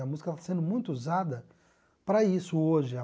A música está sendo muito usada para isso hoje.